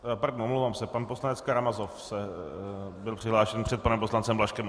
Pardon, omlouvám se, pan poslanec Karamazov byl přihlášen před panem poslancem Blažkem.